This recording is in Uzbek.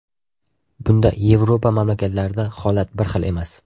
Bunda Yevropa mamlakatlarida holat bir xil emas.